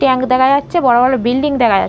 tank দেখা যাচ্ছে বড় বড় বিল্ডিং দেখা যা--